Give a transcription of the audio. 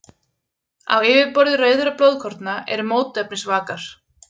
Á yfirborði rauðra blóðkorna eru mótefnisvakar.